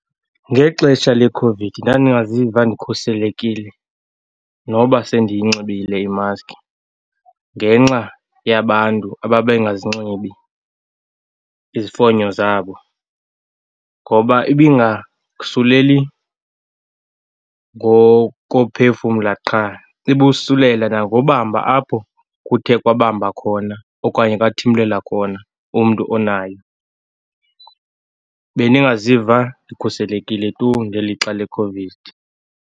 Ngexesha leCOVID ndandingaziva ndikhuselekile noba sendiyinxibile imaski ngenxa yabantu ababengazinxibi izifonyo zabo. Ngoba ibingasuleli ngokophefumla qha. Ibosulele nangokubamba apho kuthe kwabamba khona okanye kwathimlela khona umntu onayo. Bendingaziva ndikhuselekile tu ngelixa leCOVID.